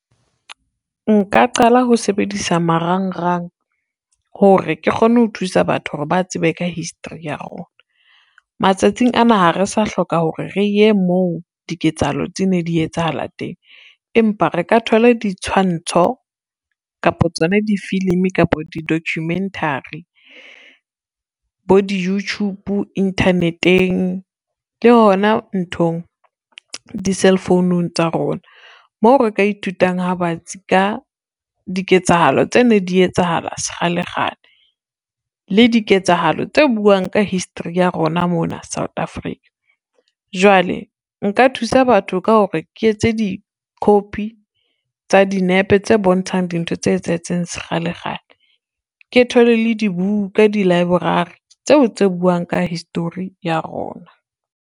Nka qala ho sebedisa marangrang, hore ke kgone ho thusa batho hore ba tsebe ka history ya rona. Matsatsing ana ha re sa hloka hore re ye moo diketsahalo tse ne di etsahala teng, empa re ka thole ditshwantsho, kapo tsona di-filimi kapo di-documentary. Bo di-youtube, internet-eng le hona nthong di-cell founung tsa rona, moo re ka ithutang ha batsi ka diketsahalo tse ne di etsahala sekgalekgale le diketsahalo tse buang ka history ya rona mona South Africa. Jwale nka thusa batho ka hore ke etse di-copy tsa dinepe tse bontshang dintho tse etsahetseng sekgalekgale, ke thole le dibuka di-library tseo tse buang ka history ya rona.